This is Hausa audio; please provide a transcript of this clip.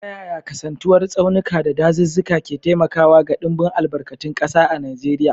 Ta yaya kasantuwar tsaunuka da dazuzzuka ke taimakawa ga dimbin albarkatun kasa a Najeriya?